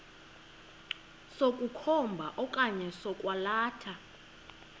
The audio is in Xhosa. sokukhomba okanye sokwalatha